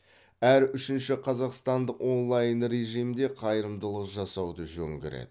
әр үшінші қазақстандық онлайн режимде қайырымдылық жасауды жөн көреді